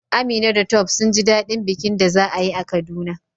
Amina da Tope sun ji daɗin bikin da za a yi a Kaduna